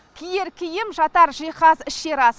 киер киім жатар жиһаз ішер ас